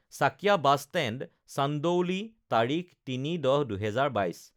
Chakia bus stand, Chandauli, তাৰিখ ০৩ ১০ ২০২২